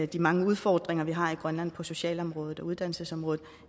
de mange udfordringer vi har i grønland på socialområdet og uddannelsesområdet